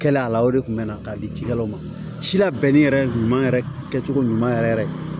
Kɛla a la o de kun bɛ na ka di cikɛlaw ma si labɛnni yɛrɛ ɲuman yɛrɛ kɛcogo ɲuman yɛrɛ yɛrɛ